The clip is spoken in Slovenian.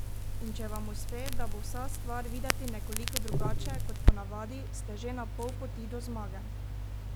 In če vam uspe, da bo vsa stvar videti nekoliko drugače kot po navadi, ste že na pol poti do zmage!